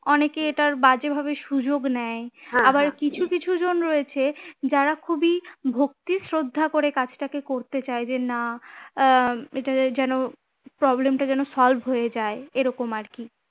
অনেকে এটার বাজে ভাবে সুযোগ নেয় আবার কিছু কিছু জন রয়েছে যারা খুবই ভক্তি শ্রদ্ধা করে কাজটাকে করতে চায় যে না আহ এটাচাই যেন problem টা যেন solve হয়ে যায় এরকম আরকি